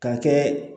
Ka kɛ